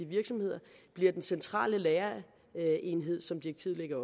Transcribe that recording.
virksomheder bliver den centrale lagerenhed som direktivet lægger